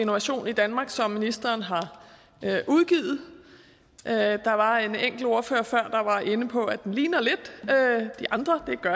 innovation i danmark som ministeren har udgivet der var en enkelt ordfører før der var inde på at den ligner lidt de andre